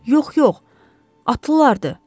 Yox, yox, atlılardır.